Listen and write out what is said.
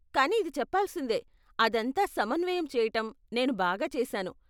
కానీ, ఇది చెప్పాల్సిందే, అదంతా సమన్వయం చేయటం, నేను బాగా చేసాను.